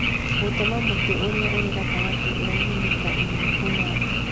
Gũtema mũtĩ ũrĩa ũrĩ gatagatĩ ũraihe mita ĩmwe kuuma thĩ